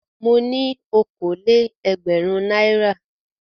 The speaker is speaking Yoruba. Mo ní okòó-lé-ẹgbẹ̀rún náírà.